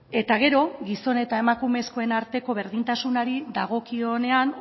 eta gero gizon eta emakumezkoen arteko berdintasunari dagokionean